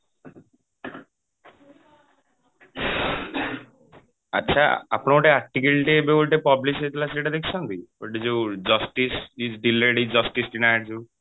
ଆଛା ଆପଣ ଗୋଟେ article ଟେ ଏବେ ଗୋଟେ publish ହେଇଥିଲା ସେଇଟା ଦେଖିଛନ୍ତି ଗୋଟେ ଯୋଉ justice is delayed is justice denied ଯୋଉ